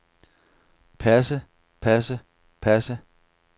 passe passe passe